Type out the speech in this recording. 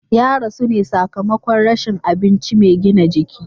Ya rasu ne sakamakon rashin abinci mai gina jiki.